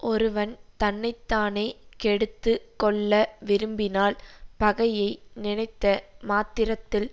ஒருவன் தன்னை தானே கெடுத்து கொள்ள விரும்பினால் பகையை நினைத்த மாத்திரத்தில்